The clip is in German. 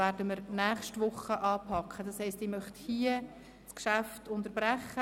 Hier möchte ich das Geschäft unterbrechen.